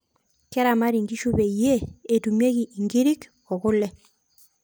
keramati inkishu peyiee etumieki inkirik oo kule